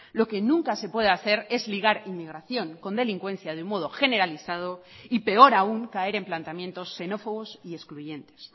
lo que nunca se puede hacer es ligar inmigración con delincuencia de modo generalizado y peor aún caer en planteamientos xenófobos y excluyentes